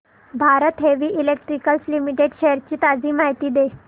Bharat heavy electricals limited shares ची ताजी माहिती दे